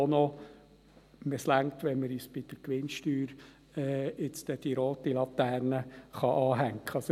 Es reicht, wenn man uns bei der Gewinnsteuer bald die rote Laterne anhängen kann.